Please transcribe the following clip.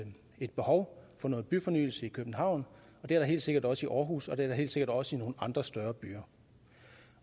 behov for noget byfornyelse i københavn og det er der helt sikkert også i aarhus og det er der helt sikkert også i nogle andre større byer